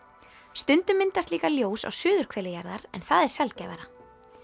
stundum myndast líka ljós á suðurhveli jarðar en það er sjaldgæfara